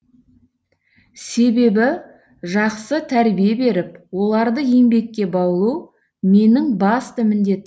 себебі жақсы тәрбие беріп оларды еңбекке баулу менің басты міндетім